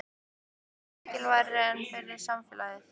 Hvor vinnan er mikilvægari fyrir samfélagið?